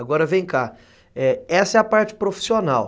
Agora vem cá, é, essa é a parte profissional.